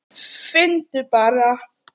Finndu bara!